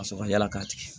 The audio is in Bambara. Ka sɔrɔ ka yala k'a tigɛ